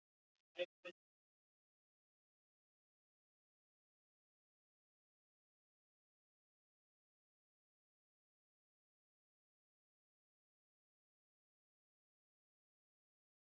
Það væri okkur sterkari vörn en miklar hervarnir.